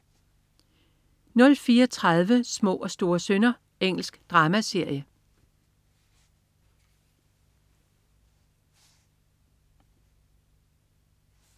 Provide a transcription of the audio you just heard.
04.30 Små og store synder. Engelsk dramaserie